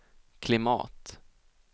klimat